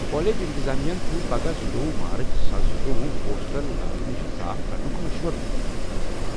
college انتظامیہ ہَن چھُ پگاہ زٕتووُہ مارچ زٕساس زٕتووُ ہوسٹل لاگہٕ نِشہِ صاف کرنُک مشورٕ دِیوٚتمُت